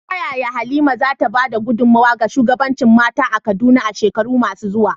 Ta yaya Halima za ta ba da gudunmawa ga shugabancin mata a Kaduna a shekaru masu zuwa?